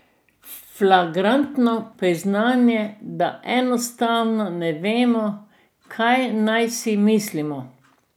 Flagrantno priznanje, da enostavno ne vemo, kaj naj si mislimo.